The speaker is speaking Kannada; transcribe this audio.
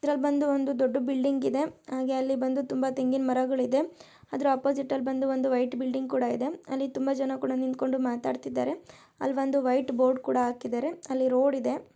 ಇದರಲ್ಲಿ ಬಂದು ಒಂದು ದೊಡ್ಡ ಬಿಲ್ಡಿಂಗ್ ಇದೆ ಹಾಗೆ ಅಲ್ಲಿ ಬಂದು ತುಂಬಾ ತೆಂಗಿನ ಮರಗಳು ಇದೆ ಅದರ ಆಪೋಸಿಟ್ ಬಂದು ಒಂದು ವೈಟ್ ಬಿಲ್ಡಿಂಗ್ ಕೂಡ ಇದೆ ಅಲ್ಲಿ ತುಂಬಾ ಜನ ಕೂಡ ನಿಂತ್ಕೊಂಡು ಮಾತಾಡ್ತಾ ಇದ್ದಾರೆ ಅಲ್ಲಿ ಒಂದು ವೈಟ್ ಬೋರ್ಡ್ ಕೂಡ ಹಾಕಿದ್ದಾರೆ ಅಲ್ಲಿ ರೋಡ್ ಇದೆ.